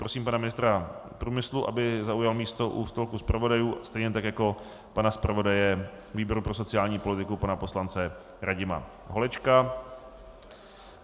Prosím pana ministra průmyslu, aby zaujal místo u stolku zpravodajů, stejně tak jako pana zpravodaje výboru pro sociální politiku pana poslance Radima Holečka.